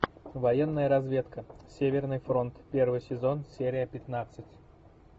военная разведка северный фронт первый сезон серия пятнадцать